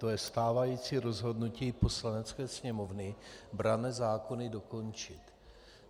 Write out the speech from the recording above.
To je stávající rozhodnutí Poslanecké sněmovny: branné zákony dokončit.